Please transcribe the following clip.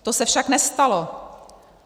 To se však nestalo.